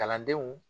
Kalandenw